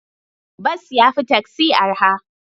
Bas ya fi taksi araha.